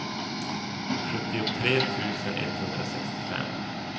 sjuttiotre tusen etthundrasextiofem